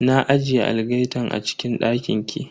Na ajiye algaitan a cikin dakin ki.